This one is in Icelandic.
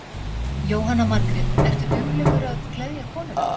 Jóhanna Margrét: Ertu duglegur að gleðja konuna?